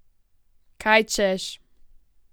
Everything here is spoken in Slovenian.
Kaj češ.